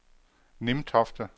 Nimtofte